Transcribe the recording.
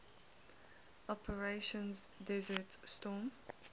operation desert storm